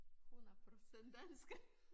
100% dansk